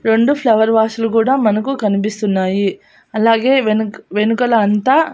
రెండు flower vase లు కూడా మనకు కనిపిస్తున్నాయి అలాగే వెనుక వెనుకల అంతా.